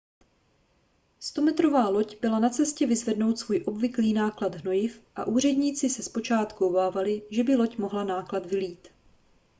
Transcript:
100metrová loď byla na cestě vyzvednout svůj obvyklý náklad hnojiv a úředníci se zpočátku obávali že by loď mohla náklad vylít